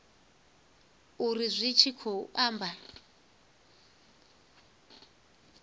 uri zwi tshi khou amba